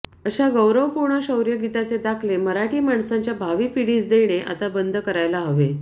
अशा गौरवपूर्ण शौर्यगीताचे दाखले मराठी माणसाच्या भावी पिढीस देणे आता बंद करायला हवे